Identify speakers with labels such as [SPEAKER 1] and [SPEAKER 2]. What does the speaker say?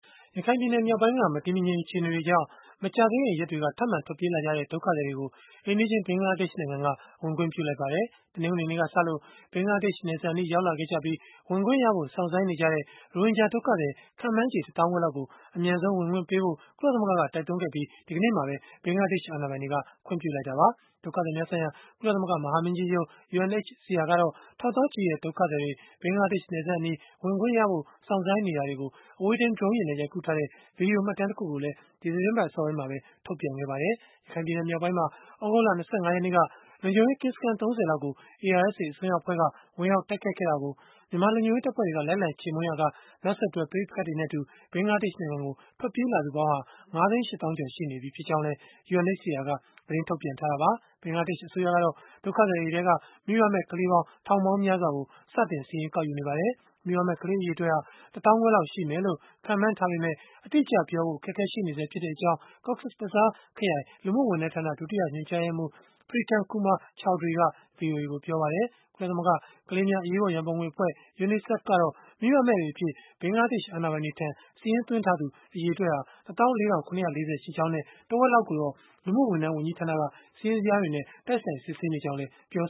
[SPEAKER 1] ရခိုင်ပြည်နယ် မြောက်ပိုင်းက မတည်မငြိမ် အခြေအနေတွေကြောင့် မကြာသေးခင် ရက်တွေက ထပ်မံ ထွက်ပြေးလာကြတဲ့ ဒုက္ခသည်တွေကို အိမ်နီးချင်း ဘင်္ဂလားဒေ့ရှ်နိုင်ငံက ဝင်ခွင့်ပြုလိုက်ပါတယ်။ တနင်္ဂနွေနေ့ကစလို့ ဘင်္ဂလားဒေ့ရှ် နယ်စပ်အနီး ရောက်လာခဲ့ကြပြီး ဝင်ခွင့်ရဖို့ စောင့်ဆိုင်းနေကြတဲ့ ရိုဟင်ဂျာ ဒုက္ခသည် ခန့်မှန်းချေ တသောင်းခွဲလောက်ကို အမြန်ဆုံး ဝင်ခွင့်ပြုဖို့ ကုလသမဂ္ဂက တိုက်တွန်းခဲ့ပြီး ဒီကနေ့မှာပဲ ဘင်္ဂလားဒေ့ရှ် အာဏာပိုင်တွေက ခွင့်ပြုလိုက်တာပါ။ ဒုက္ခသည်များဆိုင်ရာ ကုလသမဂ္ဂ မဟာမင်းကြီးရုံး (UNHCR) ကတော့ ထောင်သောင်းချီတဲ့ ဒုက္ခသည်တွေ ဘင်္ဂလားဒေ့ရှ်နယ်စပ်အနီး ဝင်ခွင့်ရဖို့ စောင့်ဆိုင်းနေတာတွေကို အဝေးထိန်း Drone နဲ့ ရိုက်ကူးထားတဲ့ ဗွီဒီယိုမှတ်တမ်းတခုကိုလည်း ဒီသီတင်းပတ် အစောပိုင်းမှာပဲ ထုတ်ပြန်ခဲ့ပါတယ်။ ရခိုင်ပြည်နယ် မြောက်ပိုင်းမှာ သြဂုတ်လ ၂၅ ရက်နေ့က လုံခြုံရေးကင်းစခန်း ၃၀ လောက်ကို ARSA အစွန်းရောက်အဖွဲ့က ဝင်ရောက်တိုက်ခိုက်ခဲ့တာကို မြန်မာလုံခြုံရေးတပ်ဖွဲ့တွေက လိုက်လံ ချေမှုန်းရာက နောက်ဆက်တွဲ ပဋိပက္ခတွေနဲ့အတူ ဘင်္ဂလားဒေ့ရှ်နိုင်ငံကို ထွက်ပြေးလာသူပေါင်းဟာ ၅ သိန်း ၈ သောင်းကျော် ရှိနေပြီ ဖြစ်ကြောင်းလည်း UNHCR က သတင်းထုတ်ပြန်ထားတာပါ။ ဘင်္ဂလားဒေ့ရှ် အစိုးရကတော့ ဒုက္ခသည်တွေထဲက မိဘမဲ့ ကလေးပေါင်း ထောင်ပေါင်းများစွာကို စတင်စာရင်း ကောက်ယူနေပါတယ်။ မိဘမဲ့ ကလေးအရေအတွက်ဟာ တသောင်းခွဲလောက် ရှိမယ်လို့ ခန့်မှန်းထားပေမဲ့ အတိအကျပြောဖို့ အခက်အခဲ ရှိနေဆဲ ဖြစ်တဲ့အကြောင်းCox’s Bazar ခရိုင် လူမှုဝန်ထမ်းဌာန ဒုတိယညွှန်ကြားရေးမှူး Pritam Kumar Chowdhury က ဗွီအိုအေကို ပြောပါတယ်။ ကုလသမဂ္ဂ ကလေးငယ်များ အရေးပေါ် ရန်ပုံငွေအဖွဲ့ UNICEF ကတော့ မိဘမဲ့တွေအဖြစ် ဘင်္ဂလားဒေ့ရှ် အာဏာပိုင်တွေထံ စာရင်းသွားထားသူ အရေအတွက်ဟာ ၁၄,၇၄၀ ရှိကြောင်းနဲ့ တဝက်လောက်ကိုတော့ လူမှုဝန်ထမ်းဝန်ကြီးဌာနက စာရင်းတွေနဲ့ တိုက်ဆိုင်စစ်ဆေးနေကြောင်းလည်း ပြော